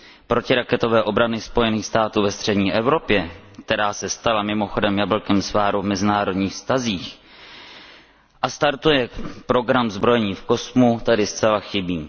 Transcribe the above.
protiraketové obrany Spojených států ve střední Evropě, která se stala mimochodem jablkem sváru v mezinárodních vztazích a startuje program zbrojení v kosmu, tady zcela chybí.